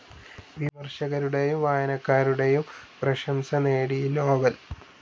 വിമർശകരുടെയും വായനക്കാരുടെയും പ്രശംസ നേടി ഈ നോവൽ.